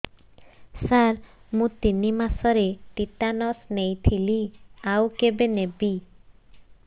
ସାର ମୁ ତିନି ମାସରେ ଟିଟାନସ ନେଇଥିଲି ଆଉ କେବେ ନେବି